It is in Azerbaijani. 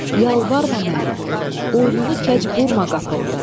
Yalvarma mənə, boynunu kəc burma qapımda.